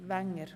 der SiK.